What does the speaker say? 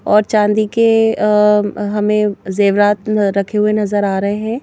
और चांदी के हमें जेवरात रखे हुए नजर आ रहे हैं।